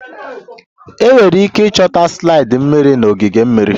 Enwere ike ịchọta slide mmiri na ogige mmiri